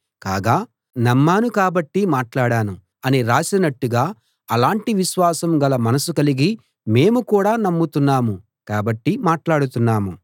కాగా నమ్మాను కాబట్టి మాట్లాడాను అని రాసినట్టుగా అలాంటి విశ్వాసం గల మనసు కలిగి మేము కూడా నమ్ముతున్నాము కాబట్టి మాట్లాడుతున్నాము